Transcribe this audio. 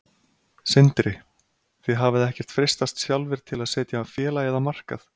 Sindri: Þið hafið ekkert freistast sjálfir til að setja félagið á markað?